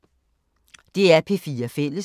DR P4 Fælles